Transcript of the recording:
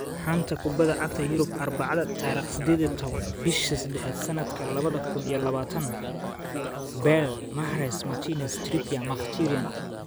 Xanta Kubadda Cagta Yurub Arbacada tariq sideed iyo toban bisha sedaxaad sanadka labada kun iyo labatanaad Bale, Mahrez, Martinez, Trippier, Mkhitaryan